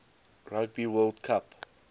rugby world cup